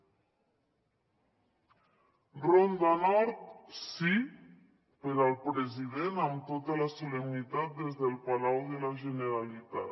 ronda nord sí per al president amb tota la solemnitat des del palau de la generalitat